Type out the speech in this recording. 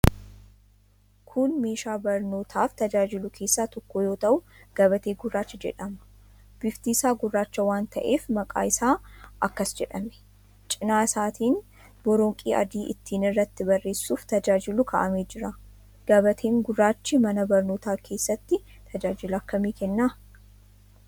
Kun meeshaa barnootaaf tajaajilu keessaa tokko yoo ta'u, gabatee gurraacha jedhama. Bifti isaa gurraacha waan ta'eef maqaan isaa akkas jedhame. Cina isaatiin boronqii adiin ittiin irratti barreessuuf tajaajilu kaa'amee jira. Gabateen gurraachi mana barnootaa keessatti tajaajila akkamii kenna?